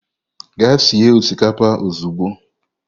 Gaa sie osikapa ozugbo.